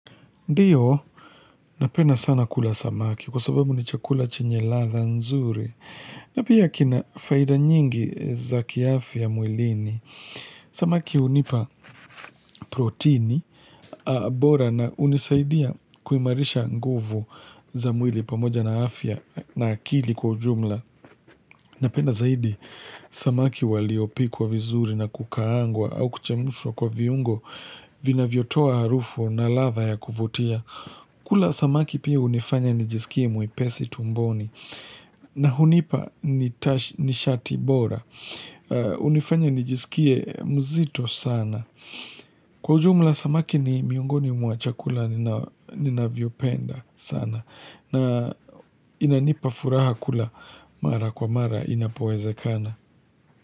Ndiyo, napenda sana kula samaki kwa sababu ni chakula chenye ladhaa nzuri. Napia kina faida nyingi za kiafya mwilini. Samaki unipa protini, bora na unisaidia kuimarisha nguvu za mwili pamoja na afya na akili kwa jumla. Napenda zaidi, samaki waliopikwa vizuri na kukaangwa au kuchemshwa kwa viungo vinavyotoa harufu na ladha ya kuvutia. Kula samaki pia unifanya nijisikie mwepesi tumboni na hunipa nishati bora. Unifanya nijisikie mzito sana. Kwa ujumla samaki ni miongoni mwa chakula ninavyopenda sana na inanipa furaha kula mara kwa mara inapowezekana.